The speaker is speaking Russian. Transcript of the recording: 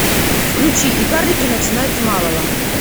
включи и карлики начинают с малого